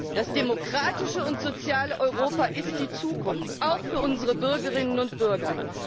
Das demokratische und soziale Europa ist die Zukunft auch für unsere Bürgerinnen und Bürger!